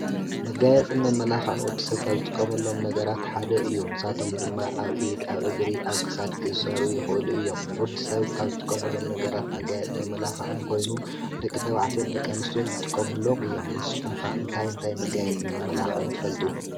መጋየፅን መመላኽዐን ወዲ ሰብ ካብ ዝጥቀመሎም ነገራት ሓደ እዩ፤ ንሳቶም ድማ ኣብ ኢድ፣ ኣብ እግሪ፣ ኣብ ክሳድ ክእሰሩ ይኽእሉ እዮም፤ ወዲ ሰብ ካብ ዝጥቀመሎም ነገራት መጋየፂ መመላኽዒን ኮይኑ ደቂ ተባዕትዮን ደቂ ኣንስትዮ ይጥቆምሎም እዮም። ንስኹምከ እንታይ እንታይ መጋየፂን መመላኽዕን ትፈልጡ ?